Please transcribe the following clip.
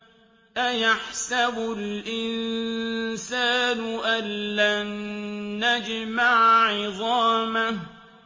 أَيَحْسَبُ الْإِنسَانُ أَلَّن نَّجْمَعَ عِظَامَهُ